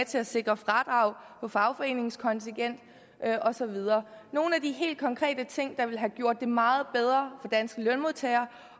til at sikre fradrag for fagforeningskontingent og så videre det nogle af de helt konkrete ting der ville have gjort det meget bedre danske lønmodtagere